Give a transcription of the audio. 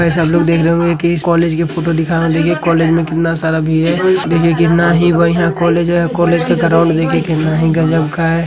लोग देख रहे होंगे कि इस कॉलेज की फोटो दिखा रहा हूँ। देखिए कॉलेज में कितना सारा भीड़ हैं। देखिए कितना ही बढ़िया कॉलेज है। कॉलेज का ग्राउंड देखिए कितना ही गजब का है।